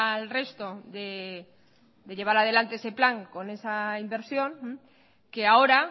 al resto de llevar adelante ese plan con esa inversión que ahora